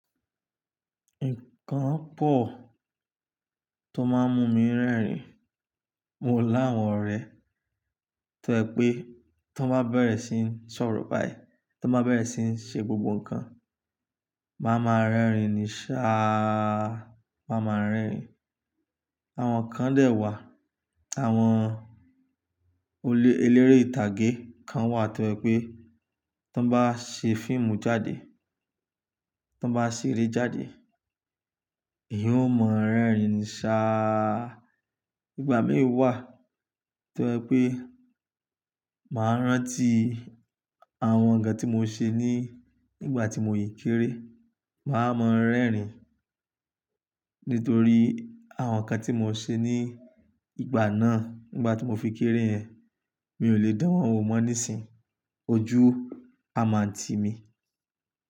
Nǹkan pọ̀ tó máa ń mú mi ń rẹ́rìn-ín. Mo lá àwọn ọ̀rẹ́ tó yẹ pé tó bá bẹ̀rẹ̀ sí ń sọ̀rọ̀ báyìí, tan bá bẹ̀rẹ̀ sí ń ṣe gbogbo ǹkan, màá ma rẹ́rìn-ín ní sáà, màá ma rẹ́rìn-ín. Àwọn kan dẹ̀ wà, àwọn eléré ìtàgé kan wà tó yẹ pé tó bá ṣe fíìmù jáde, tó bá ṣe eré jáde, ìyẹn ó mọ ń rẹ́rìn-ín sáà. Ìgbà mì wà tó yẹ pé màá rántí àwọn ǹkan tí mo ṣe ní ìgbà tí mo yìí kéré, màá mọ ń rẹ́rìn-ín. Nítorí àwọn ǹkan tí mo ṣe ní ìgbà náà, ìgbà tí mo fi kéré yẹn, mi ò lè dán wọ́n mọ́ nísìínyi ọjú amanti mi.